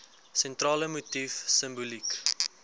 sentrale motief simboliek